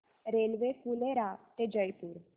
railway Phulera ते जयपूर